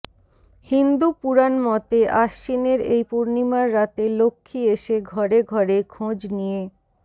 হিন্দু পুরাণ মতে আশ্বিনের এই পূর্ণিমার রাতে লক্ষ্মী এসে ঘরে ঘরে খোঁজ নিয়ে